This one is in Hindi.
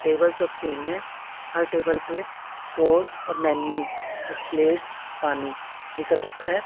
टेबल सब सेम है हर टेबल पे सॉस और मेन्यू कुछ प्लेट्स पानी ये सब रखा है।